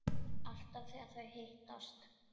Alltaf þegar þau hittast